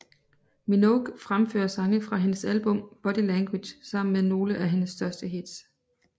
Minogue fremfører sange fra hendes album Body Language sammen med nogle af hendes største hits